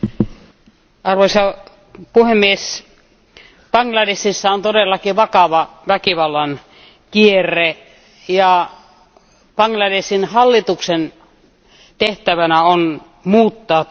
Arvoisa puhemies, Bangladeshissa on todellakin vakava väkivallan kierre ja Bangladeshin hallituksen tehtävänä on muuttaa tilanne.